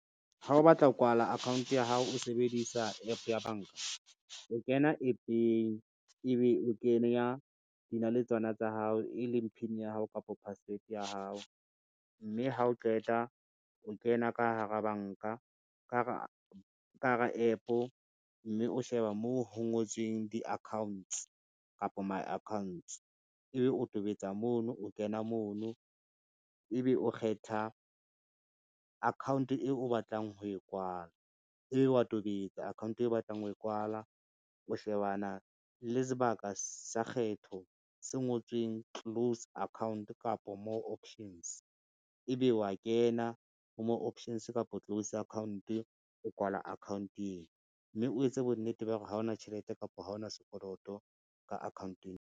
Ha o batla ho kwala account ya hao o sebedisa App ya banka. O kena App-eng, ebe o kenya dinaletswana tsa hao e leng PIN ya hao kapa password ya hao, mme ha o qeta o kena ka hara App, mme o sheba moo ho ngotsweng di-accounts kapo my accounts ebe o tobetsa mono, o kena mono, ebe o kgetha account eo o batlang ho e kwala, ebe wa tobetsa account eo o batlang ho e kwala, o shebana le sebaka sa kgetho se ngotsweng close account kapa ho more options ebe wa kena ho more options kapo close account o kwala account eo, mme o etse bonnete ba hore ha ona tjhelete kapo ha ona sekoloto ka akhaonteng.